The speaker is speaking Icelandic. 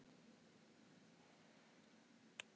Mána Lóa.